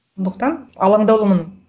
сондықтан алаңдаулымын